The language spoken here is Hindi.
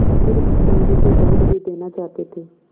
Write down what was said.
अतिरिक्त समझू को दंड भी देना चाहते थे